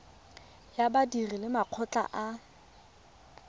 ya badiri le makgotla a